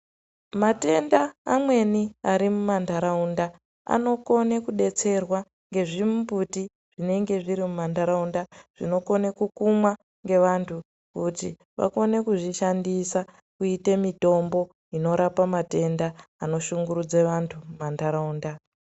Matenda amweni ari mumantaraunda anokone kubetserwa ngezvimbuti zvinenge zviri mumantaraunda. Zvinokone kukumwa ngevantu kuti vakone kuzvishandisa kuite mitombo inorapa matenda anoshungurudze vantu mumantaraunda.